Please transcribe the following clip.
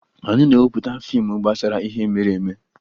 Anyị na-emepụta fiimu gbasara ihe mere eme